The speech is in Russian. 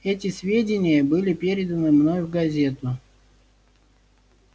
эти сведения были переданы мной в газету